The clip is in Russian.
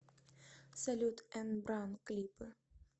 салют эн бран клипы